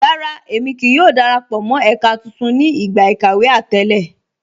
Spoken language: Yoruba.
Rárá, ẹ̀mi kíí yọ̀ò darapọ̀ mọ́ ẹka tuntun ni igba ikàwé àtẹ̀lẹ